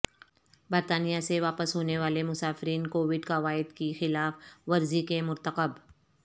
برطانیہ سے واپس ہونے والے مسافرین کووڈ قواعدکی خلاف ورزی کے مرتکب